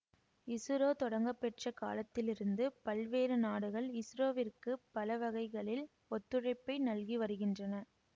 இசுரோ தொடங்கப்பெற்ற காலத்திலிருந்து பல்வேறு நாடுகள் இசுரோவிற்கு பலவகைகளில் ஒத்துழைப்பை நல்கி வருகின்றன